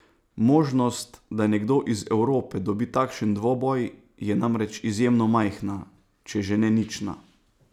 Možnost, da nekdo iz Evrope dobi takšen dvoboj, je namreč izjemno majhna, če že ne nična.